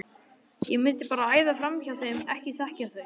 ég mundi bara æða framhjá þeim. ekki þekkja þau!